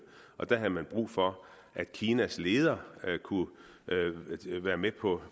og der havde man brug for at kinas leder kunne være med på